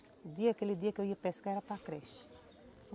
O dia, aquele dia que eu ia pescar era para creche.